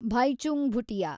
Bhaichung Bhutia